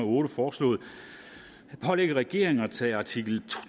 otte foreslået at pålægge regeringen at tage artikel